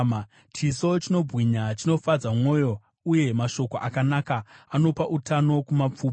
Chiso chinobwinya chinofadza mwoyo, uye mashoko akanaka anopa utano kumapfupa.